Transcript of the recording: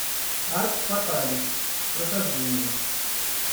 аркс фаталис прохождение